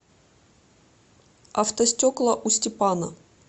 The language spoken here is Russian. автостекла у степана